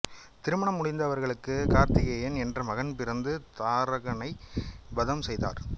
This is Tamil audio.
திருமணம் முடிந்து அவர்களுக்கு கார்த்திகேயன் என்ற மகன் பிறந்து தாரகனை வதம் செய்தார்